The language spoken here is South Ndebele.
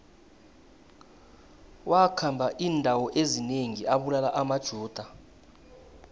wakhamba indawo ezinengi abulala amajuda